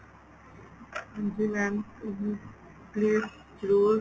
ਜੀ mam ਜੀ please ਜਰੂਰ